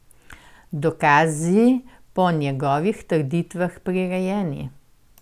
Dokazi so po njegovih trditvah prirejeni.